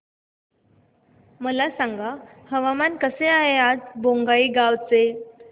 मला सांगा हवामान कसे आहे आज बोंगाईगांव चे